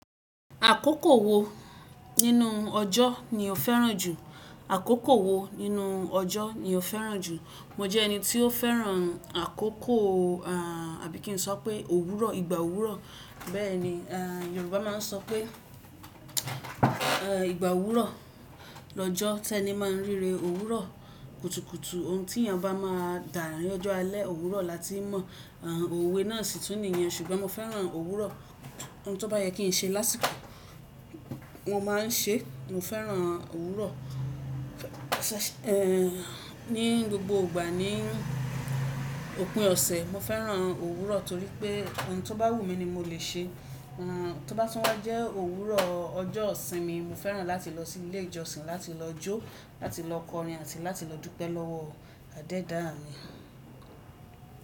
Àkókò wo nínú ọjọ́ ni o fẹ́ràn jù? Àkókò wo nínú ọjọ́ ni o fẹ́ràn jù? Mo jẹ́ ẹni tí ó fẹ́ràn àkókò àbí kí n sọ pé òwúrọ̀, ìgbà òwúrọ̀. Bẹ́ẹ̀ ni, Yorùbá máa ń sọ pé ìgbà òwúrọ̀ lọ́jọ́ tẹ́ni máa ń ríre òwúrọ̀ kùtùkùtù. Ohun tí èèyàn bá máa dà á ní ọjọ́ alẹ́, òwúrọ̀ láti ń mọ òwe náà sì tún nìyẹn ṣùgbọ́n mo fẹ́ràn òwúrọ̀. Ohun tó bá yẹ kí n ṣe lásìkò mo ma ń ṣe, mo fẹ́ràn òwúrọ̀. Ní gbogbo ìgbà ní òpin ọ̀sẹ̀, mo fẹ́ràn òwúrọ̀ torí pé ohun tó bá wù mí ni mo le ṣe. Tó bá tún wá jẹ́ òwúrọ̀ ọjọ́ ìsinmi, mo fẹ́ràn láti lọ sí ilé ìjọsìn, láti lọ jó, láti lọ kọrin àti láti lọ dúpẹ́ lọ́wọ́ Àdẹ́dáa mi.